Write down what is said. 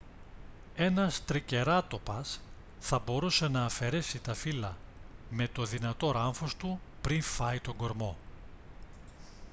ένας τρικεράτοπας θα μπορούσε να αφαιρέσει τα φύλλα με το δυνατό ράμφος του πριν φάει τον κορμό